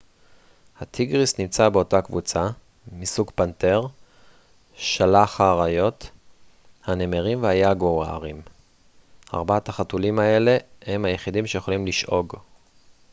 הטיגריס נמצא באותה קבוצה מסוג פנתר שלח האריות הנמרים והיגוארים. ארבעת החתולים האלה הם היחידים שיכולים לשאוג